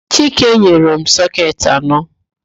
Chike nyere m sọketị anọ.